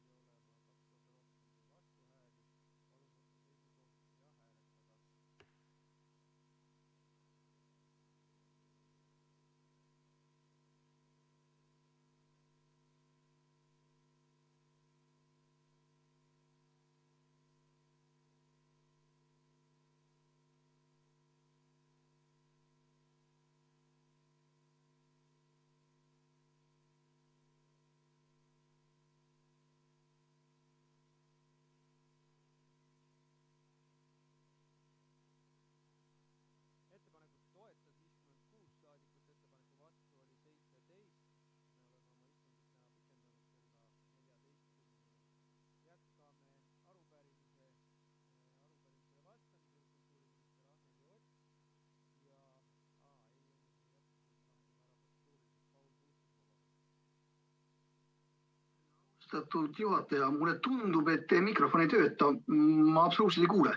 Mulle tundub, et teie mikrofon ei tööta, ma absoluutselt ei kuule.